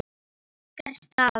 Ykkar stað?